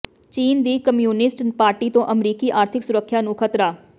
ਚੀਨ ਦੀ communist party ਤੋਂ ਅਮਰੀਕੀ ਆਰਥਿਕ ਸੁਰੱਖਿਆ ਨੂੰ ਖ਼ਤਰਾ